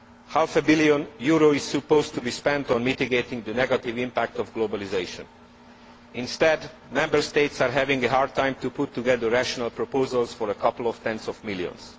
Half a billion euros is supposed to be spent on mitigating the negative impact of globalisation. Instead, Member States are having a hard time putting together rational proposals for a couple of tens of millions.